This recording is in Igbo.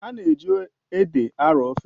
A na-eji ede arọọ ofe.